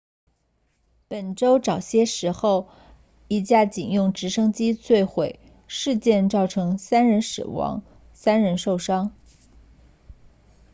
本周早些时候一架警用直升机坠毁事件造成3人死亡3人受伤